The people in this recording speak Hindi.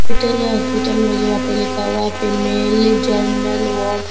हॉस्पिटल में जो यहाँ पे लिख हुआ है फीमेल जेनरल वार्ड ।